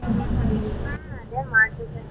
ಹಾ ಅದೇ ಮಾಡಿದ್ದೇನೆ.